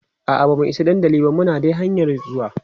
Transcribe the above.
a'a bamu Isa dandali ba Muna dai hanƴan zuwa